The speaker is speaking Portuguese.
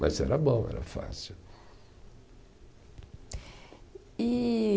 Mas era bom, era fácil. E